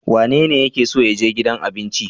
Wanene yake so ya je gidan abinci?